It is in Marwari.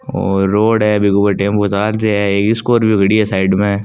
और रोड ए विगो ऊपर टेंपू चाल रा है एक स्कॉर्पियो बी खड़ी ए साइड में।